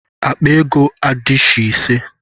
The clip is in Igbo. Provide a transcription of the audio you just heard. Akpa ego adishi ise.